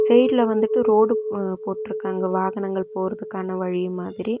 சைடுல வந்துட்டு ரோடு போட்டுருக்காங்க வாகனங்கள் போறததுக்கான வழி மாதிரி.